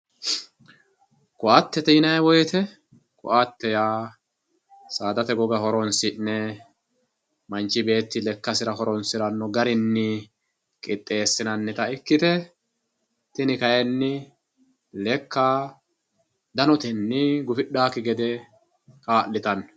Koatete yinayi woyite koatete ya sadate goga horonsine manchi betti lekasira horosiranota garinni qixesinanita ikite tini kayinni leka danitenni gudhawoki gede kalitano